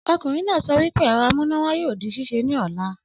Ọkunrin naa sọ wípé ẹ̀rọ amúnáwá yoo di ṣíṣe ni ọla.